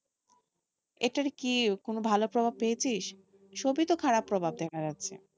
এটার কি কোনো ভালো প্রভাব পেয়েছিস? সবই তো খারাপ প্রভাব দেখা যাচ্ছে।